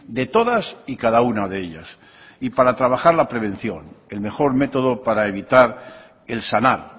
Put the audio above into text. de todas y cada una de ellas y para trabajar la prevención el mejor métodopara evitar el sanar